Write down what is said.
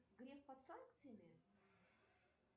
греф под санкциями